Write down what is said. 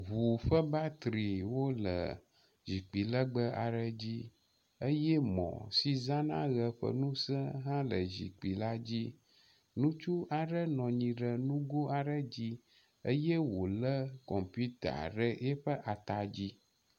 ʋu ƒe batterywó le ʒikpi legbe aɖe dzi eyɛ mɔ̀ si zãna ɣe ƒe nuse hã le ʒikpi la dzí. Nutsu aɖe nɔ anyi ɖe nugó aɖe dzi eyɛ wòlé kɔmputa ɖe eƒe atadzí